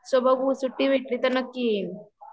so बघु सुट्टी भेटली तर नक्की येईल